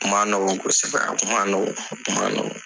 Kuma nɔgɔn kosɛbɛrɛ, kuma nɔgɔn, a kuma nɔgɔn.